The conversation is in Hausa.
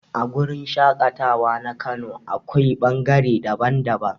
A wurin shaƙatawa na kano akwai ɓangare daban-daban.